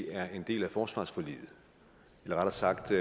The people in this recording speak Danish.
er en del af forsvarsforliget eller rettere sagt